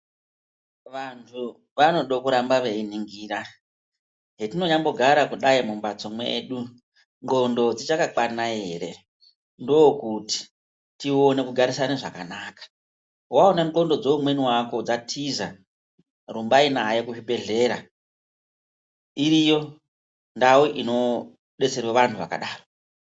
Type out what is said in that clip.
Vantu vanoda kuramba veiningira zvetinyambo gara kudai mumbatso mwedu ndxondo dzichakakwana ere ndokuti tone kugarisana zvakanaka. Vaone ndxondo dzeumweni vako dzatiza rumbai naye kuzvibhedhlera iriyo ndau inobetserwa vantu vakadaro.